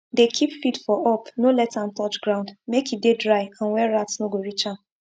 dey keep feed for up no let am touch ground make e dey dry and where rat no go reach am